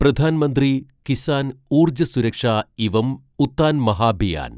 Pradhan Mantri Kisan Urja Suraksha evam Utthan Mahabhiyan